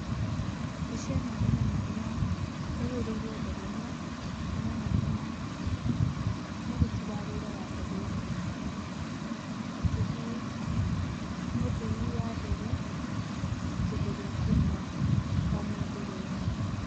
Mbica ĩno ĩronania ĩhũrĩirwo ndege-ini, ĩronania mũruti wa wĩra wa ndege-inĩ akĩhe mũthii wa ndege kĩndũ gĩa kũnyua o me ndege-inĩ.